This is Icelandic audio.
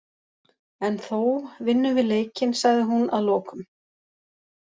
En þó, vinnum við leikinn sagði hún að lokum.